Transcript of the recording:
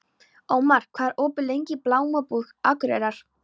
Ómar, hvað er opið lengi í Blómabúð Akureyrar?